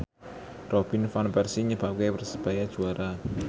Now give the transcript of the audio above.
Robin Van Persie nyebabke Persebaya juara